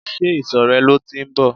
Ṣé ìsò rẹ lọ tí ń bọ̀?